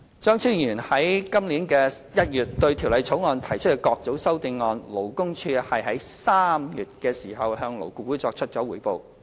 張超雄議員在今年1月對《條例草案》提出的各組修正案，勞工處於3月向勞顧會作出匯報。